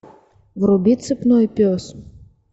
вруби цепной пес